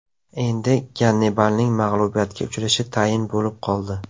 Endi Gannibalning mag‘lubiyatga uchrashi tayin bo‘lib qoldi.